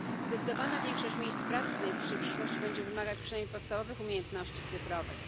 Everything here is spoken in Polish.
Zdecydowana większość miejsc pracy w najbliższej przyszłości będzie wymagać przynajmniej podstawowych umiejętności cyfrowych.